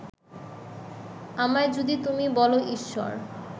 আমায় যদি তুমি বলো ঈশ্বর